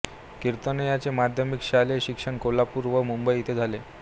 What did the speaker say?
कीर्तने यांचे माध्यमिक शालेय शिक्षण कोल्हापूर व मुंबई येथे झाले